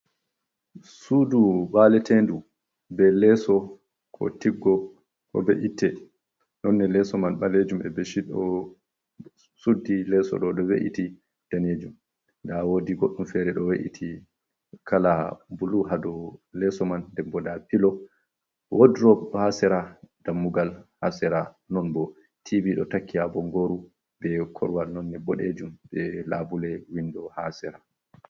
Suudu baaleteendu bee leeso koo tiggo e be’itte noone leeso man ɓaleejum e becit ɗo suddi leeso ɗo"o ɗo we’iti daneejum, nda woodi goɗɗum feere ɗo we’iti kala bulu haa dow leeso man nden boo ndaa pilo, woddurob haa sera dammugal haa sera non boo tivi ɗo takki haa bonggooru bre korowal noone boɗeejum bee laabule windo haa sira.